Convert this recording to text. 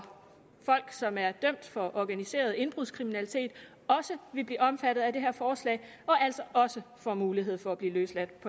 folk som er dømt for organiseret indbrudskriminalitet også vil blive omfattet af det her forslag og altså også får mulighed for at blive løsladt